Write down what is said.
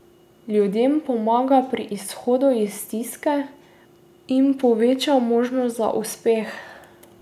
Ljudem pomaga pri izhodu iz stiske in poveča možnost za uspeh.